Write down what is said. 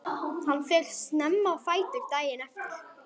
Hann fer snemma á fætur daginn eftir.